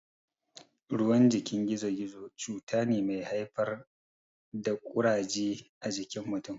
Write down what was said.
Ruwan jikin gizo-gizo cuta ne mai haifar da Ƙuraje a jikin mutun.